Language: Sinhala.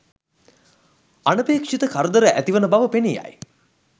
අනපේක්ෂිත කරදර ඇතිවන බව පෙනී යයි.